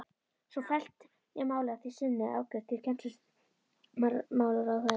Svo fellt var málið að því sinni afgreitt til kennslumálaráðherra.